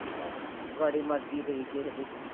ਆਹੋ ਮਰਜ਼ੀ ਪਈ ਕਿਸੇ ਦੀ